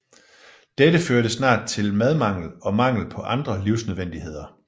Dette førte snart til madmangel og mangel på andre livsnødvendigheder